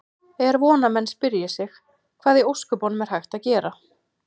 Er von að menn spyrji sig: Hvað í ósköpunum er hægt að gera?